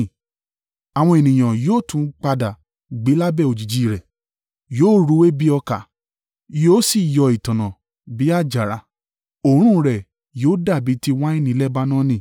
Àwọn ènìyàn yóò tún padà gbé lábẹ́ òjijì rẹ̀. Yóò rúwé bi ọkà. Yóò sì yọ ìtànná bi àjàrà, òórùn rẹ yóò dàbí ti wáìnì Lebanoni.